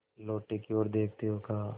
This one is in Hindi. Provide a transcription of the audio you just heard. लोटे की ओर देखते हुए कहा